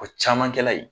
O caman kɛla ye